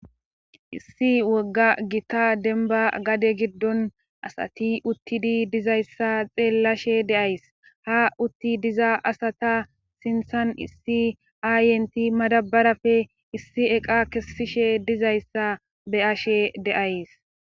Issi wogga gita denba gade giddon asati uttidi dizayssa xeellashe de'ays ha utti diza asata sinthan issi aayenti madabarafe issi eqa kessishe dizayssa be'ashshe de'ays